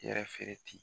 I yɛrɛ feere ten